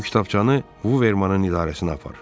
"Bu kitabçanı Vivermanın idarəsinə apar."